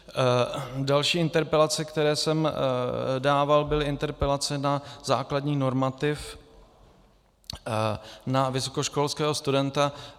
Další interpelace, které jsem dával, byly interpelace na základní normativ na vysokoškolského studenta.